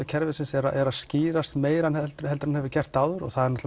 kerfisins er að skýrast meira en hann hefur gert áður það er